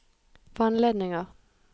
vannledninger